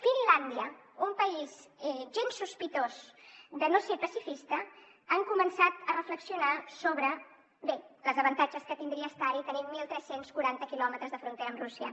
finlàndia un país gens sospitós de no ser pacifista ha començat a reflexionar sobre bé els avantatges que tindria estar hi tenint tretze quaranta quilòmetres de frontera amb rússia